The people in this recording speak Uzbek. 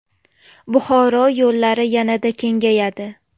Buxoro yo‘llari yanada kengayadi .